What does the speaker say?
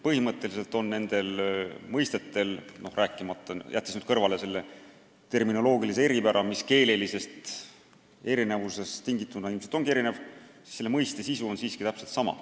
Põhimõtteliselt on nende mõistete sisu täpselt seesama, kuigi terminid on algkeelest tingituna erinevad.